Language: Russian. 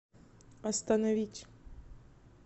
остановить